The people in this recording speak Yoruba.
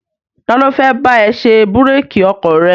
Ta ló fẹ́ bá ẹ ṣe búrékì ọkọ̀ rẹ?